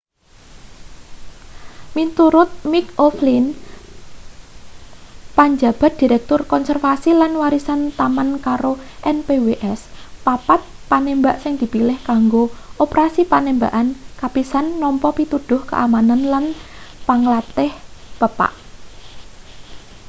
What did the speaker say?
miturut mick o'flynn panjabat direktur konservasi lan warisan taman karo npws papat panembak sing dipilih kanggo operasi panembakan kapisan nampa pituduh keamanan lan panglantih pepak